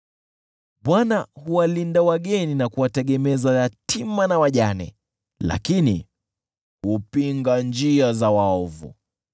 Bwana huwalinda wageni na kuwategemeza yatima na wajane, lakini hupinga njia za waovu.